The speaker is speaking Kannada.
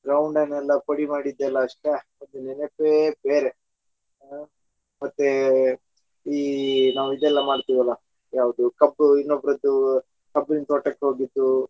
ground ಅನ್ನೆಲ್ಲ ಪುಡಿ ಮಾಡಿದೆಲ್ಲ ಅಷ್ಟೇ ಅದರ ನೆನಪೇ ಬೇರೆ ಮತ್ತೆ ನಾವ್ ಈ ಇದೆಲ್ಲ ಮಾಡತೆವಲ್ಲಾ ಯಾವದು ಕಬ್ಬು ಇನ್ನೊಬ್ರದ್ದು ಕಬ್ಬಿನ ತೋಟಕ್ಕೆ ಹೋಗಿದ್ದು .